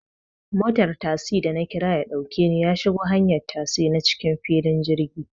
Motar tasi da nakira yaɗauke ni yashigo hanyar tasi na cikin filin jirgi